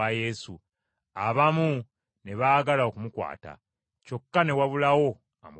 Abamu ne baagala okumukwata, kyokka ne wabulawo amukwatako.